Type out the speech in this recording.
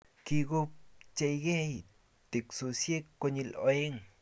Kikopcheikei teksosiek koyil aeng